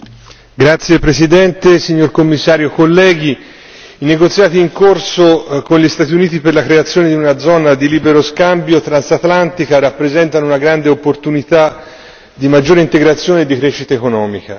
Signor Presidente, onorevoli colleghi, signor Commissario, i negoziati in corso con gli Stati Uniti per la creazione di una zona di libero scambio transatlantica rappresentano una grande opportunità di maggiore integrazione e di crescita economica.